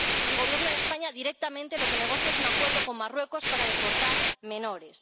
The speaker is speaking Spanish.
El Gobierno de España directamente lo que negocia es un acuerdo con Marruecos para deportar menores.